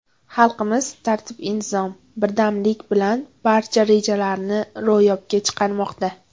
Xalqimiz tartib-intizom, birdamlik bilan barcha rejalarini ro‘yobga chiqarmoqda.